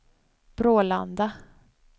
Brålanda